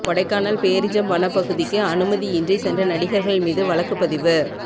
கொடைக்கானல் பேரிஜம் வனப்பகுதிக்கு அனுமதியின்றி சென்ற நடிகா்கள் மீது வழக்குப் பதிவு